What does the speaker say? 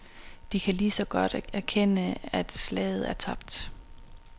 De kan ligeså godt erkende at slaget er tabt.